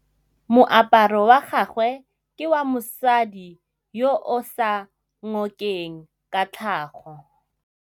Moaparô wa gagwe ke wa mosadi yo o sa ngôkeng kgatlhegô.